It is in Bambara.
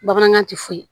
Bamanankan ti foyi